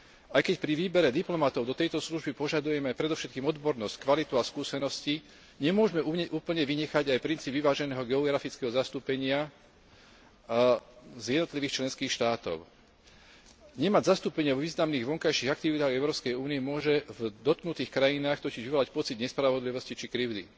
Aj keď pri výbere diplomatov do tejto služby požadujeme predovšetkým odbornosť, kvalitu a skúsenosti, nemôžeme úplne vynechať aj princíp vyváženého geografického zastúpenia z jednotlivých členských štátov. Nemať zastúpenie vo významných vonkajších aktivitách Európskej únie môže v dotknutých krajinách totiž vyvolať pocit nespravodlivosti či krivdy.